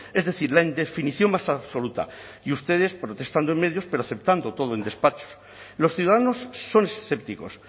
es decir la indefinición más absoluta y ustedes protestando en medios pero aceptando todo en despacho los ciudadanos son escépticos